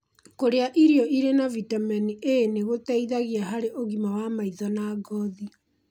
Kũrĩa irio irĩ na vitameni A nĩgũteithagia harĩ ũgima wa maitho na ngothi